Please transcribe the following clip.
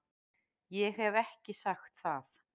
Ég hef ekki sagt það!